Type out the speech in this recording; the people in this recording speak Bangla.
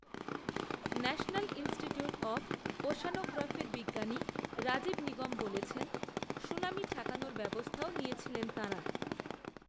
‘ন্যাশনাল ইনস্টিটিউট অফ ওশ্যানোগ্রাফি’র বিজ্ঞানী রাজীব নিগম বলেছেন, ‘‘সুনামি ঠেকানোর ব্যবস্থাও নিয়েছিলেন তাঁরা"